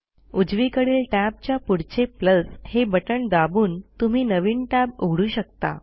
उजवीकडील टॅबच्या पुढचे हे बटण दाबून तुम्ही नवीन टॅब उघडू शकता